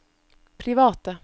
private